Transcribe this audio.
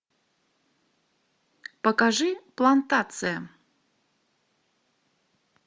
покажи плантация